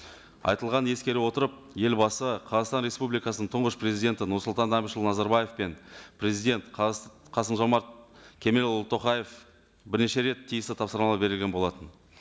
айтылғанды ескере отырып елбасы қазақстан республикасының тұңғыш президенті нұрсұлтан әбішұлы назарбаев пен президент қасым жомарт кемелұлы тоқаев бірнеше рет тиісті тапсырмалар берген болатын